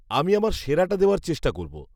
-আমি আমার সেরাটা দেওয়ার চেষ্টা করব।